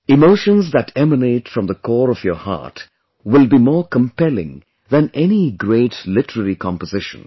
Emotions that emanate from the core of your heart will be more compelling than any great literary composition